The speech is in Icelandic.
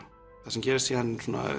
það sem gerist síðan